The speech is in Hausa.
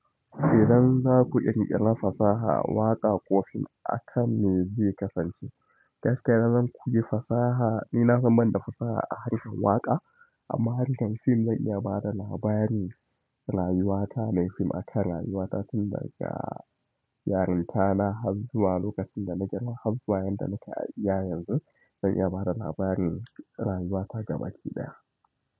Idan za ku ƙirƙira fasaha, waƙa ko fim aka mai zai kasance? Gaskiya idan zan kuyi fasaha, ni na san banda fasaha a harkan waƙa amma harkan fim zan iya bada labarin rayuwata. Nayi fim aka rayuwata tun daga yarinta na, har zuwa lokacin da na girma har zuwa yadda nake a iya yanzu zan iya bada labarin rayuwata gabaki ɗaya.